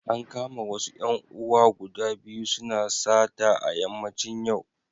An kama wasu ‘yan uwa guda biyu suna sata a yammacin yau.